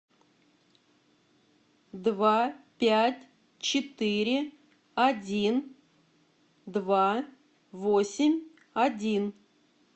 два пять четыре один два восемь один